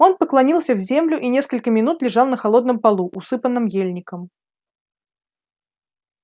он поклонился в землю и несколько минут лежал на холодном полу усыпанном ельником